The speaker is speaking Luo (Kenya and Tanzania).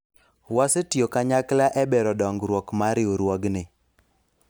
wasetiyo kanyakla e bero dongruok mar riwruogni